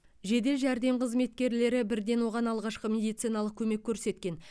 жедел жәрдем қызметкерлері бірден оған алғашқы медициналық көмек көрсеткен